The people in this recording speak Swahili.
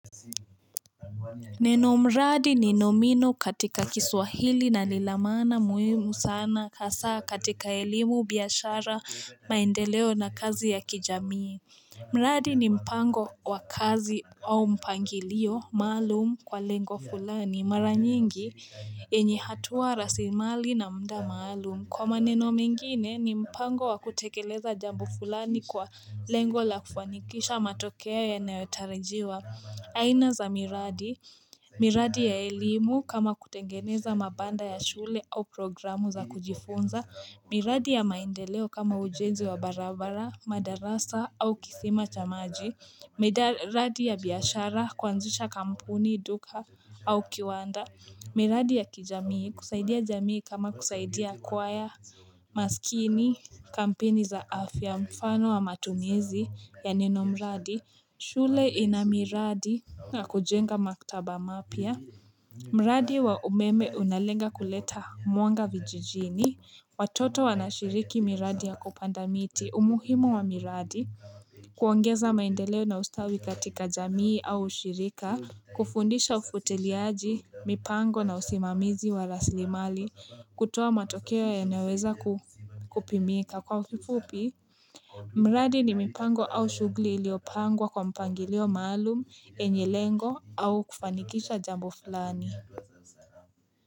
Neno mradi ni nomino katika kiswahili na ni la maana muhimu sana hasa katika elimu biashara maendeleo na kazi ya kijamii mradi ni mpango wa kazi au mpangilio maalum kwa lengo fulani Mara nyingi yenye hatua rasilimali na muda maalum Kwa maneno mengine ni mpango wa kutekeleza jambo fulani kwa lengo la kufanikisha matokea yanayotarajiwa aina za miradi, miradi ya elimu kama kutengeneza mabanda ya shule au programu za kujifunza, miradi ya maendeleo kama ujenzi wa barabara, madarasa au kisima cha maji, miradi ya biashara, kwanzisha kampuni, duka au kiwanda, miradi ya kijamii kusaidia jamii kama kusaidia kwaya maskini kampeni za afya mfano wa matumizi ya neno mradi. Shule ina miradi na kujenga maktaba mapya mradi wa umeme unalenga kuleta mwanga vijijini Watoto wanashiriki miradi ya kupanda miti umuhimu wa miradi kuongeza maendeleo na ustawi katika jamii au shirika kufundisha ufutiliaji mipango na usimamizi wa rasilimali kutoa matokeo yanaweza kupimika kwa ufupi mradi ni mipango au shughuli iliyopangwa kwa mpangilio maalum enye lengo au kufanikisha jambo flani.